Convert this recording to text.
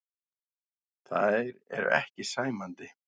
Þær eru ekki sæmandi.